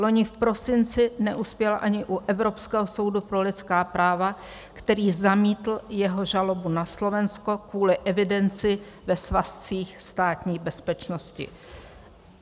Loni v prosinci neuspěl ani u Evropského soudu pro lidská práva, který zamítl jeho žalobu na Slovensko kvůli evidenci ve svazcích Státní bezpečnosti.